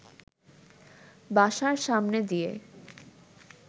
বাসার সামনে দিয়ে